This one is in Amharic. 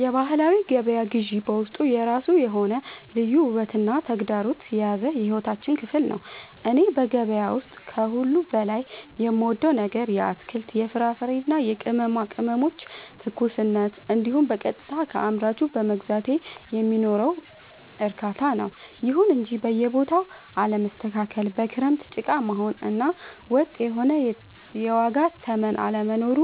የባህላዊ ገበያ ግዢ በውስጡ የራሱ የሆነ ልዩ ውበትና ተግዳሮት የያዘ የሕይወታችን ክፍል ነው። እኔ በገበያ ውስጥ ከሁሉ በላይ የምወደው ነገር የአትክልት፣ የፍራፍሬና የቅመማ ቅመሞችን ትኩስነት እንዲሁም በቀጥታ ከአምራቹ በመግዛቴ የሚኖረውን እርካታ ነው። ይሁን እንጂ የቦታው አለመስተካከል፣ በክረምት ጭቃ መሆኑ እና ወጥ የሆነ የዋጋ ተመን አለመኖሩ